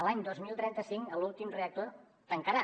l’any dos mil trenta cinc l’últim reactor tancarà